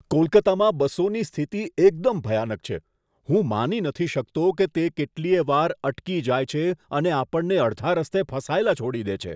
કોલકતામાં બસોની સ્થિતિ એકદમ ભયાનક છે! હું માની શકતો નથી કે તે કેટલીય વાર અટકી જાય છે અને આપણને અડધા રસ્તે ફસાયેલા છોડી દે છે.